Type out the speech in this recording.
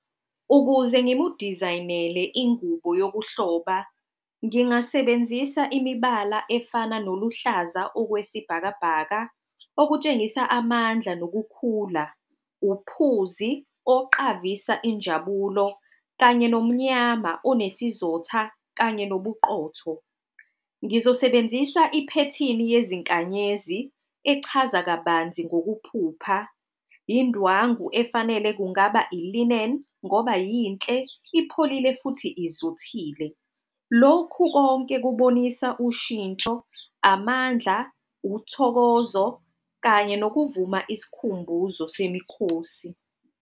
Ukuze ngimudizayinele ingubo yokuhloba, ngingasebenzisa imibala efana noluhlaza okwesibhakabhaka okutshengisa amandla nokukhula. Uphuzi, oqavisa injabulo kanye nomnyama onesizotha kanye nobuqotho. Ngizosebenzisa iphethini yezinkanyezi, echaza kabanzi ngokuphupha. Yindwangu efanele kungaba ilineni ngoba yinhle, ipholile, futhi izothile. Lokhu konke kubonisa ushintsho amandla, uthokozo kanye nokuvuma isikhumbuzo semikhosi.